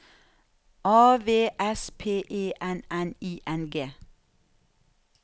A V S P E N N I N G